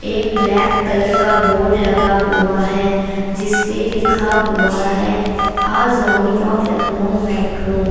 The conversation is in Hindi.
एक ब्लैक कलर का बोर्ड लगा हुआ है जिस पे लिखा हुआ है अ जोमि ऑफ लखनऊ मेट्रो ।